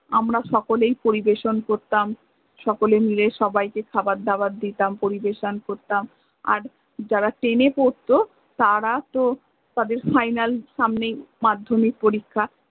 আমরা সকলেই পরিবেসন করতাম, সকলেই মিলে সবাই কে খাবার দাবার দিতাম পরিবেশন করতাম আর যারা ten এ পরত তার তো তাদের final সামনে মাধ্য়মিক পরীক্ষা